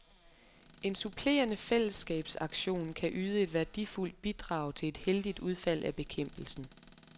En supplerende fællesskabsaktion kan yde et værdifuldt bidrag til et heldigt udfald af bekæmpelsen.